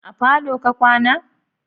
A falo ka kwana?